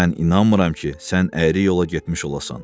Mən inanmıram ki, sən əyri yola getmiş olasan.